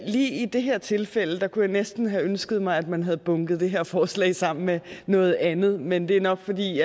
lige i det her tilfælde kunne jeg næsten have ønsket mig at man havde bunket det her forslag sammen med noget andet men det er nok fordi